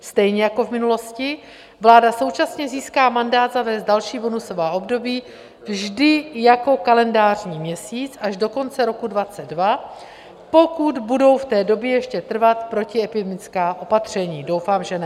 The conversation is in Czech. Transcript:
Stejně jako v minulosti vláda současně získá mandát zavést další bonusová období vždy jako kalendářní měsíc až do konce roku 2022, pokud budou v té době ještě trvat protiepidemická opatření - doufám, že ne.